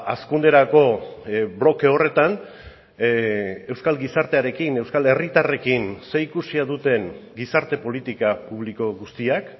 hazkunderako bloke horretan euskal gizartearekin euskal herritarrekin zerikusia duten gizarte politika publiko guztiak